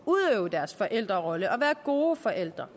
udøve deres forældrerolle og være gode forældre